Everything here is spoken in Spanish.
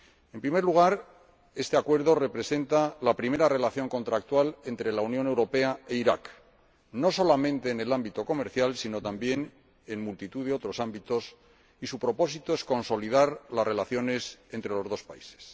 En primer lugar, este Acuerdo representa la primera relación contractual entre la Unión Europea e Irak, no solamente en el ámbito comercial sino también en multitud de otros ámbitos, y su propósito es consolidar las relaciones entre los dos países.